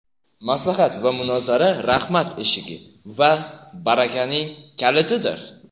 Maslahat va munozara rahmat eshigi va barakaning kalitidir.